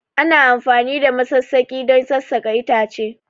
Ana amfani da masassaki don sassaƙa itace